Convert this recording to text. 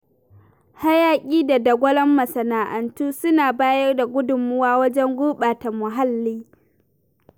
Hayaƙi da dagwalon masana'antu suna bayar da gudummawa wajen gurɓata muhalli.